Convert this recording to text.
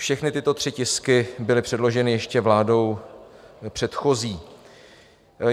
Všechny tyto tři tisky byly předloženy ještě vládou předchozí.